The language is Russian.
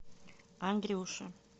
андрюше